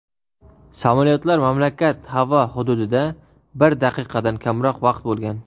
Samolyotlar mamlakat havo hududida bir daqiqadan kamroq vaqt bo‘lgan.